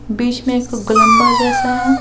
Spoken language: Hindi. बीच में एक गोलंबर जैसा है।